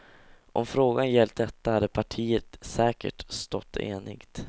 Om frågan gällt detta hade partiet säkert stått enigt.